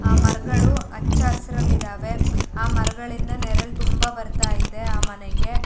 ಆ ಮರಗಳು ಹಚ್ಚ ಹಸ್ರಲಿ ಇದಾವೆ ಆ ಮರಗಳಿಂದ ನೆರಳು ತುಂಬಾ ಬರತ್ತಾ ಇದೆ ಆ ಮನೆಗೆ --